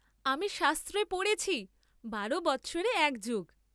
আমি শাস্ত্রে পড়েছি বারো বৎসরে এক যুগ।